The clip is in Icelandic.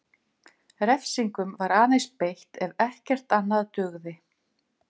Refsingum var aðeins beitt ef ekkert annað dugði.